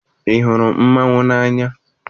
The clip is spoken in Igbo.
Ị hụrụ mmanwụ n'anya?